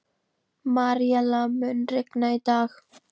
Maríella, mun rigna í dag?